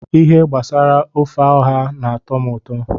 Ihe gbasara ofe ọha n'atọ m ụtọ